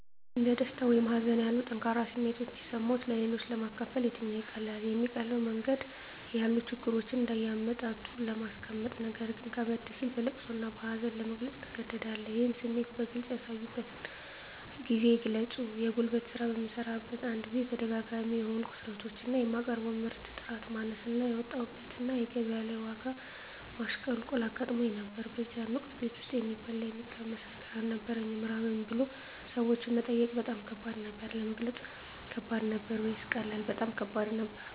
እንደ ደስታ ወይም ሀዘን ያሉ ጠንካራ ስሜቶች ሲሰማዎት-ለሌሎች ለማካፈል የትኛው ይቀላል? የሚቀለው መንገድ ያሉ ችግሮችን እንደ አመጣጡ ለማስቀመጥነገር ግን ከበድ ሲል በለቅሶ እና በሀዘን ለመግለፅ ትገደዳለህ ይህን ስሜት በግልጽ ያሳዩበትን ጊዜ ግለጹ የጉልት ስራ በምሰራበት አንድ ጊዜ ተደጋጋሚ የሆኑ ክስረቶች እና የማቀርበው ምርት ጥራት ማነስ እና ያወጣሁበት እና ገቢያ ላይ የዋጋ ማሽቆልቆል አጋጥሞኝ ነበር በዚያን ወቅት ቤት ውስጥ የሚበላ የሚቀመስ ነገር አልነበረኝም ራበኝ ብሎ ሰዎችን መጠየቅ በጣም ከባድ ነበር። ለመግለጽ ከባድ ነበር ወይስ ቀላል? በጣም ከባድ ነበር